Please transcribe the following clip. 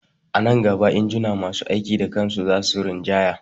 A nan gaba injuna masu aiki da kan su za su rinjaya